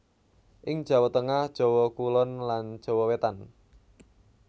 Ing Jawa Tengah Jawa Kulon lan Jawa Wetan